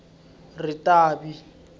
ritavi